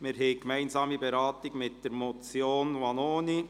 Wir beraten diese gemeinsam mit der Motion Vanoni: